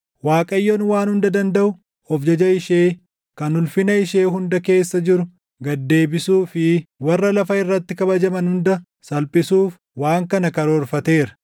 Waaqayyoon Waan Hunda Dandaʼu of jaja ishee kan ulfina ishee hunda keessa jiru gad deebisuu fi warra lafa irratti kabajaman hunda salphisuuf // waan kana karoorfateera.